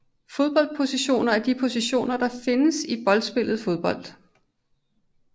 Fodboldpositioner er de positioner der findes i boldspillet fodbold